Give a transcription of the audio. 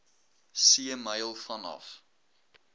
see myl vanaf